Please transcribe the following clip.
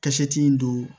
Ka seti in don